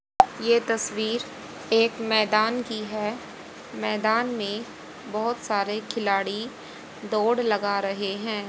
ये तस्वीर एक मैदान की है मैदान में बहोत सारे खिलाड़ी दौड़ लगा रहे हैं।